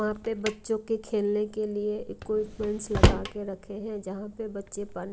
वहां पे बच्चों के खेलने के लिए इक्विपमेंट लगा के रखे हैं जहां पे बच्चे पा--